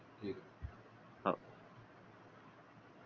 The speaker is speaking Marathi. ठीके